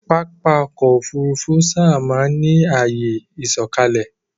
Pápá ọkọ̀ Òfurufú sáábà máa ń ní àyè ìsọ̀kalẹ̀